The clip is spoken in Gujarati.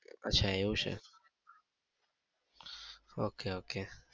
અચ્છા એવું છે! ok ok